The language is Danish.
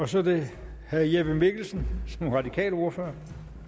så er det herre jeppe mikkelsen som radikal ordfører